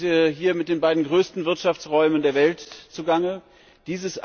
Wir haben es hier mit den beiden größten Wirtschaftsräumen der Welt zu tun.